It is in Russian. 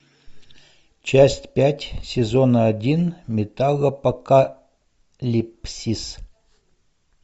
часть пять сезона один металлопокалипсис